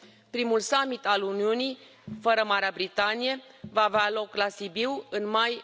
Primul summit al Uniunii, fără Marea Britanie, va avea loc la Sibiu în mai